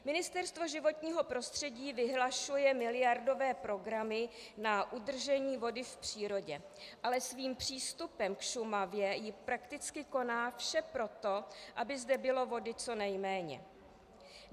Ministerstvo životního prostředí vyhlašuje miliardové programy na udržení vody v přírodě, ale svým přístupem k Šumavě prakticky koná vše pro to, aby zde bylo vody co nejméně.